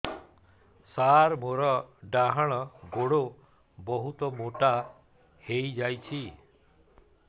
ସାର ମୋର ଡାହାଣ ଗୋଡୋ ବହୁତ ମୋଟା ହେଇଯାଇଛି